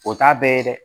O t'a bɛɛ ye dɛ